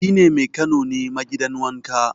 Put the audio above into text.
shi ne Mekano ne ma gidan wanka